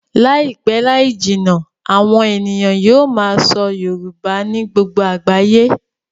Láìpẹ́ láì jìnnà, àwọn ènìyàn yóò máa sọ Yorùbá ní gbogbo àgbáyé